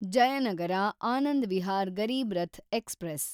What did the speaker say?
Jayanagar Anand Vihar Garib Rath express